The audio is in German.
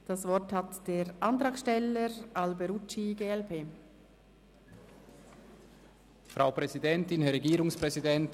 Das Wort hat der Antragsteller, Luca Alberucci, glp.